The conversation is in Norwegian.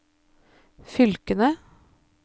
fylkene